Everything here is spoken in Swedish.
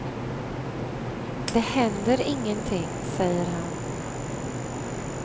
Det händer ingenting, säger han.